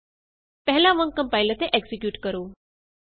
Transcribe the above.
ਪਹਿਲਾਂ ਵਾਂਗ ਕੰਪਾਇਲ ਅਤੇ ਐਕਜ਼ੀਕਿਯੂਟ ਕਰੋ